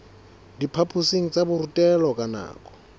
diphaphosing tsa borutelo ka nako